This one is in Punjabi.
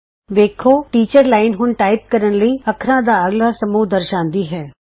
ਤੁਸੀਂ ਵੇਖੋਗੇ ਕਿ ਅਧਿਆਪਕ ਲਾਈਨ ਹੁਣ ਟਾਈਪ ਕਰਨ ਲਈ ਅੱਖਰਾਂ ਦਾ ਅਗਲਾ ਸਮੂਹ ਦਰਸਾਂਦੀ ਹੈ